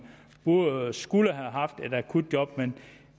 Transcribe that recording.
skulle have haft et akutjob men